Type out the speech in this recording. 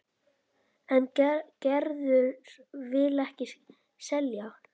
En Gerður vill ekki selja.